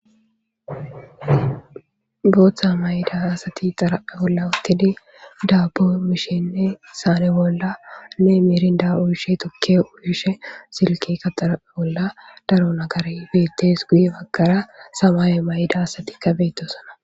Booththa may'da asati xaraphe bolla uuttidii daabbo mishshenne saane bolla ne miirinda uuyishshe tuukke uuyishshe silkekka xaraphe bolla daro naggarey beettes guye baggara samaaye mayida asatikka beettosonna